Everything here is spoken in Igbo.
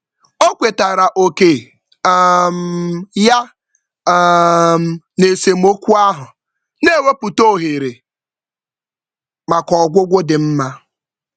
O kwetara oke um ya um n'esemokwu ahụ, na-ewepụta ohere maka ọgwụgwọ dị mma.